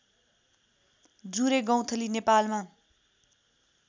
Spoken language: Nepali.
जुरे गौंथली नेपालमा